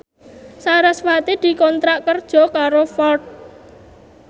sarasvati dikontrak kerja karo Ford